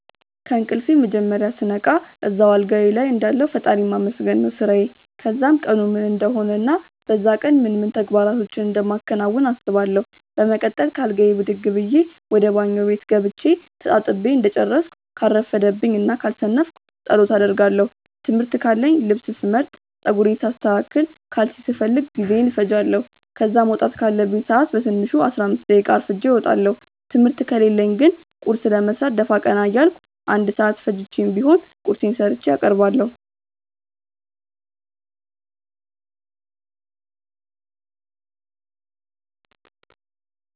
ከእንቅልፌ መጀመርያ ስነቃ እዛው አልጋዬ ልይ እንዳለሁ ፈጣሪን ማመስገን ነው ስራዬ። ከዛም ቀኑ ምን እንደሆነ እና በዛ ቀን ምን ምን ተግባራቶችን እንደማከናውን አስባለው። በመቀጠል ከአልጋዬ ብድግ ብዬ ወደ ባኞ ቤት ገብቼ ተጣጥቤ እንደጨረስኩ ካልረፈደብኝ እና ካልሰነፍኩ ጸሎት አደርጋለው። ትምህርት ካለኝ ልብስ ስመርጥ፣ ጸጉሬን ሳስተካክል፣ ካልሲ ስፈልግ ጊዜዬን እፈጃለው። ከዛ መውጣት ካለብኝ ሰአት በትንሹ 15 ደቂቃ አርፍጄ እወጣለው። ትምህርት ከሌለኝ ግን ቁርስ ለመስራት ደፋ ቀና እያልኩ 1 ሰአት ፈጅቼም ቢሆን ቁርሴን ሰርቼ አቀርባለሁ።